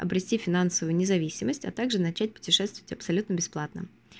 обрести финансовую независимость а также начать путешествовать абсолютно бесплатно